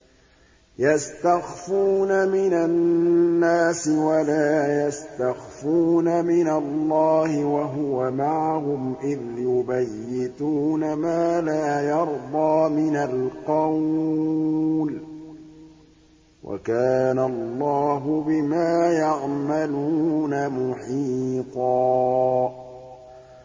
يَسْتَخْفُونَ مِنَ النَّاسِ وَلَا يَسْتَخْفُونَ مِنَ اللَّهِ وَهُوَ مَعَهُمْ إِذْ يُبَيِّتُونَ مَا لَا يَرْضَىٰ مِنَ الْقَوْلِ ۚ وَكَانَ اللَّهُ بِمَا يَعْمَلُونَ مُحِيطًا